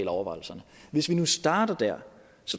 overvejelserne hvis vi nu starter der